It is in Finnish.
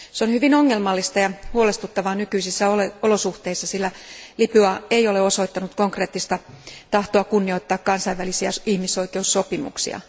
Se on hyvin ongelmallista ja huolestuttavaa nykyisissä olosuhteissa, sillä Libya ei ole osoittanut konkreettista tahtoa kunnioittaa kansainvälisiä ihmisoikeussopimuksia.